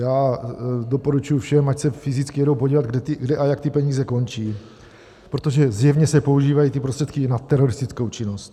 Já doporučuji všem, ať se fyzicky jedou podívat, kde a jak ty peníze končí, protože zjevně se používají ty prostředky na teroristickou činnost.